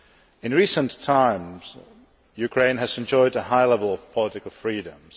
In recent times, Ukraine has enjoyed a high level of political freedoms.